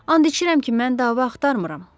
And içirəm ki, mən dava axtarmıram.